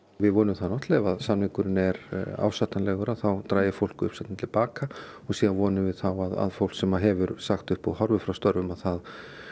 við vonum það náttúrulega ef samningurinn er ásættanlegur þá dragi fólk uppsagnirnar til baka og síðan vonum við þá að fólk sem hefur sagt upp og horfið frá störfum það